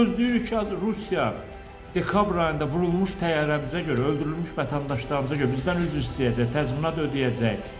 Biz gözləyirik ki, Rusiya dekabr ayında vurulmuş təyyarəmizə görə, öldürülmüş vətəndaşlarımıza görə bizdən üzr istəyəcək, təzminat ödəyəcək.